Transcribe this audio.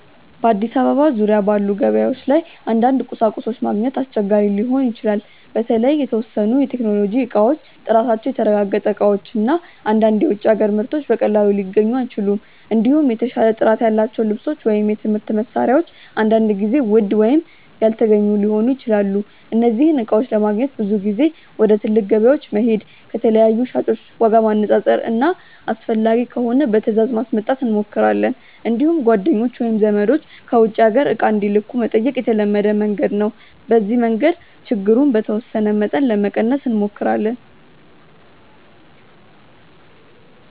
በአዲስ አበባ ዙሪያ ባሉ ገበያዎች ላይ አንዳንድ ቁሳቁሶች ማግኘት አስቸጋሪ ሊሆን ይችላል። በተለይ የተወሰኑ የቴክኖሎጂ እቃዎች፣ ጥራታቸው የተረጋገጠ እቃዎች እና አንዳንድ የውጭ አገር ምርቶች በቀላሉ ሊገኙ አይችሉም። እንዲሁም የተሻለ ጥራት ያላቸው ልብሶች ወይም የትምህርት መሳሪያዎች አንዳንድ ጊዜ ውድ ወይም አልተገኙ ሊሆኑ ይችላሉ። እነዚህን እቃዎች ለማግኘት ብዙ ጊዜ ወደ ትልቅ ገበያዎች መሄድ፣ ከተለያዩ ሻጮች ዋጋ ማነፃፀር እና አስፈላጊ ከሆነ በትእዛዝ ማስመጣት እንሞክራለን። እንዲሁም ጓደኞች ወይም ዘመዶች ከውጭ አገር እቃ እንዲልኩ መጠየቅ የተለመደ መንገድ ነው። በዚህ መንገድ ችግሩን በተወሰነ መጠን ለመቀነስ እንሞክራለን።